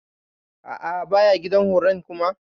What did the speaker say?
A'a baya gidan horon kuma.